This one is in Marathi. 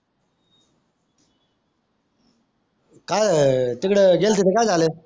काय तिकडे गेलते तर काय झाला